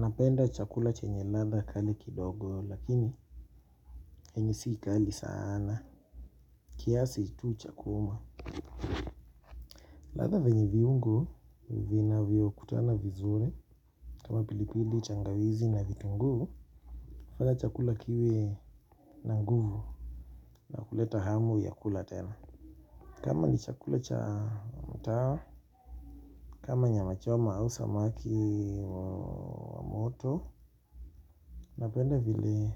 Napenda chakula chenye latha kali kidogo, lakini yenye si kali sanaa. Kiasi tu cha kuhuma. Latha venye viungo vina viukutana vizuri. Kama pilipili tangawizi na vitunguu mpaka chakula kiwe na nguvu. Nakuleta hamu ya kula tena. Kama ni chakula cha mtaa kama nyamachoma hau samaki wa moto. Napenda vile